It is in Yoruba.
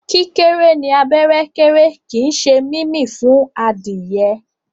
kíkéré ní abẹ́ kéré kín ṣe mímí fún Adìyẹ.